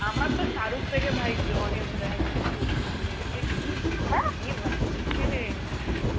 আমার তো শাহরুখ থেকে ভাই জন ইব্রাহিম কে খুব ভাল লেগেছে, কী body বানিয়েছে,